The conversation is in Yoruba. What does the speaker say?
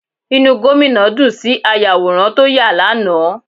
Inú Gómìnà dùn sí ayàwòrán tó yà á lánàá